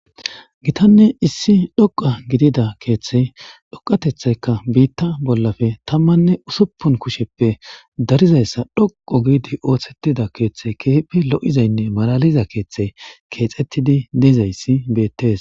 gitanne issi dhoqa gidida keeththey dhoqatethayka biitta bollafe tammanne usuppun kusheppe darizayssa dhoqo giidi ooththettida keeththe keeheppe lo7izaynne malaliza keeththe keexettidi neezayssi beettees